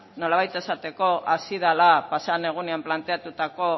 nolabait esateko hasi dela pasaden egunean planteatutako